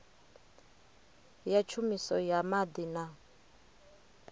ya tshumiso ya maḓi na